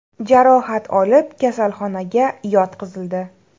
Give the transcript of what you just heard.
jarohat olib, kasalxonaga yotqizildi.